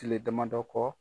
Tile damadɔ kɔ.